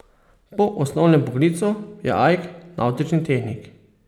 Po osnovnem poklicu je Ajk navtični tehnik.